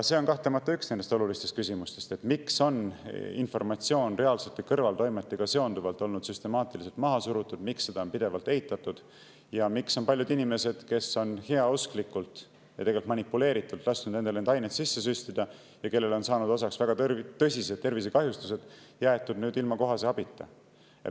See on kahtlemata üks olulistest küsimustest: miks on informatsiooni reaalsete kõrvaltoimete kohta süstemaatiliselt maha surutud, miks on seda pidevalt eitatud ning miks on paljud inimesed, kes on heausklikult ja tegelikult manipuleeritult lasknud endale neid aineid sisse süstida ja kellele on saanud osaks väga tõsised tervisekahjustused, jäetud ilma kohase abita?